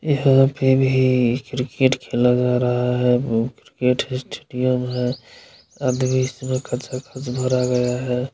यहां पे भी क्रिकेट खेला जा रहा हैं क्रिकेट है स्टेडियम है-----